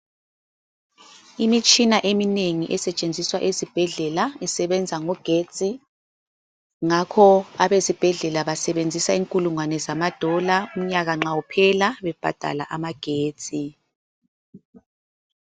Imitshina eminengi esetshenziswa esibhedlela isebenza ngogetsi, ngakho abesibhedlela basebenzisa inkulungwane zamadola umnyaka nxa uphela bebhadala amagetsi.